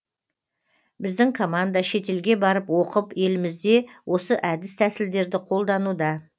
біздің команда шетелге барып оқып елімізде осы әдіс тәсілдерді қолдануда